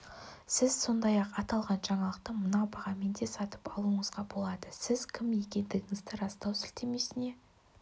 сіз сондай-ақ аталған жаңалықты мына бағамен де сатып алуыңызға болады сіз кім екендігіңізді растау сілтемесіне